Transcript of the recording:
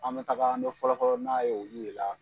An bi taga an bi fɔlɔfɔlɔ n'a ye olu de la